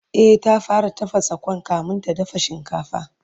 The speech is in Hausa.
E, ta fara tafasa Kwan kamin ta dafa shinkafa